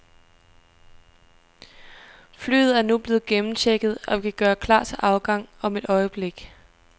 Flyet er nu blevet gennemchecket, og vi kan gøre klar til afgang om et øjeblik.